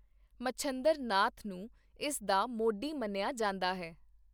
ਮਛੰਦਰ ਨਾਥ ਨੂੰ ਇਸ ਦਾ ਮੋਢੀ ਮੰਨਿਆਾ ਜਾਂਦਾ ਹੈ।